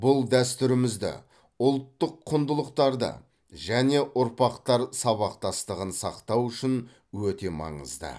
бұл дәстүрімізді ұлттық құндылықтарды және ұрпақтар сабақтастығын сақтау үшін өте маңызды